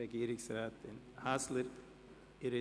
– Die Regierungsrätin wünscht das Wort.